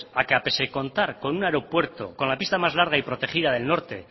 que pese a contar con un aeropuerto con la pista más larga y protegida del norte